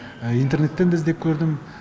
интернеттен де іздеп көрдім